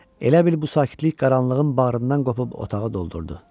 Elə bil bu sakitlik qaranlığın bağrından qopub otağı doldurdu.